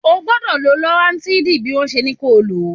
O gbọ́dọ̀ lo loratidin bí wọ́n ṣe ní kó o lò ó.